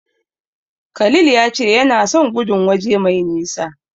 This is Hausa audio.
Khalil ya ce yana son gudun waje mai nisa.